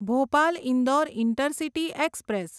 Bhopal Indore intercity express